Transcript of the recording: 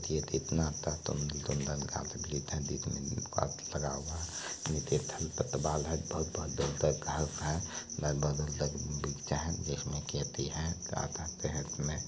ये देखिये कितना अच्छा सुंदर सुंदर गाछ वृक्ष देखने में लगा हुआ है बहुत -बहुत दूर तक गाछ वृक्ष है का कहते है की इसमें --